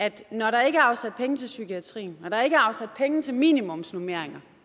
at når der ikke er afsat penge til psykiatrien når der ikke er afsat penge til minimumsnormeringer